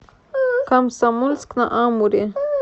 комсомольск на амуре